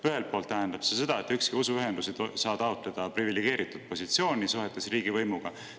Ühelt poolt tähendab see seda, et ükski usuühendus ei saa taotleda privilegeeritud positsiooni suhetes riigivõimuga.